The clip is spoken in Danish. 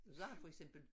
Sagde han for eksempel